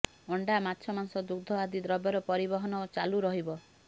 ଅଣ୍ଡା ମାଛ ମାଂସ ଦୁଗ୍ଧ ଆଦି ଦ୍ରବ୍ୟର ପରିବହନ ଚାଲୁ ରହିବ